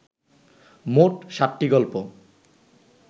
মোট ষাটটি গল্প